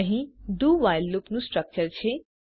અહીં do while લૂપનું structure છે